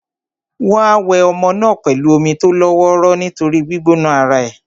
Wọ́n á wẹ ọmọ náà pẹ̀lú omi tó lọ́ wọ́ró nítorí gbígbóná ara è.